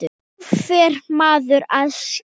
Nú fer maður að skilja!